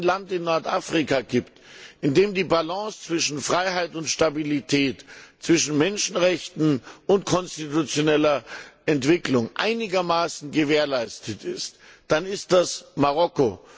Wenn es ein Land in Nordafrika gibt, in dem die Balance zwischen Freiheit und Stabilität, zwischen Menschenrechten und konstitutioneller Entwicklung einigermaßen gewährleistet ist, dann ist das Marokko.